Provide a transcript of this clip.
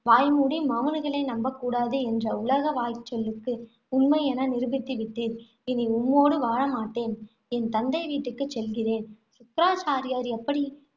வாய்மூடி மவுனிகளை நம்ப கூடாது என்ற உலக வாய்ச்சொல்லுக்கு உண்மை என நிரூபித்து விட்டீர். இனி உம்மோடு வாழமாட்டேன். என் தந்தை வீட்டுக்குச் செல்கிறேன். சுக்ராச்சாரியார் எப்படி